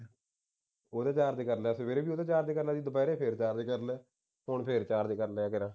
full charge ਕਰ ਲਿਆ ਸੀ ਸਵੇਰੇ ਵੀ full charge ਕਰ ਲਿਆ ਸੀ ਦੁਪਿਹਰੇ ਫੇਰ charge ਕਰ ਲਿਆ ਹੁਣ ਫੇਰ charge ਕਰ ਲਿਆ